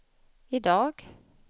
idag